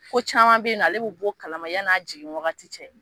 Ko caman be yen nɔ ale bi bɔ o kalama yann'a jigin waati cɛ